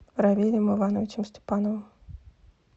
равилем ивановичем степановым